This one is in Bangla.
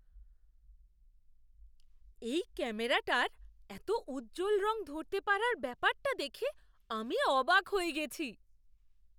এই ক্যামেরাটার এত উজ্জ্বল রং ধরতে পারার ব্যাপারটা দেখে আমি অবাক হয়ে গেছি!